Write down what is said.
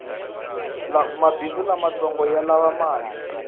mabhindzu lamatsongo yalava mali